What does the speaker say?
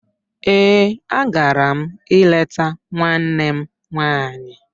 Ee, a gara m ileta nwanne m nwanyị.